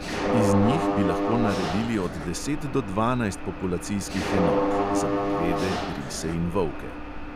Iz njih bi lahko naredili od deset do dvanajst populacijskih enot (za medvede, rise in volke).